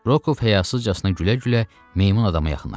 Rokov həyasızcasına gülə-gülə meymun adama yaxınlaşdı.